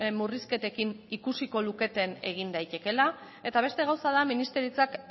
murrizketekin ikusiko luketen egin daitekeela eta beste gauza da ministeritzak